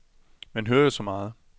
Man hører jo så meget.